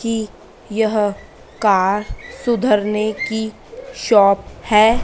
कि यह कार सुधरने की शॉप है।